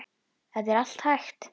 Þetta er allt hægt.